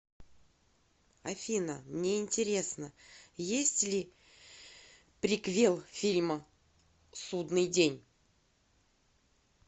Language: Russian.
афина мне интересно есть ли приквел фильма судныи день